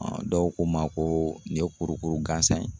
dɔw ko n ma ko nin ye kurukuru gansan ye.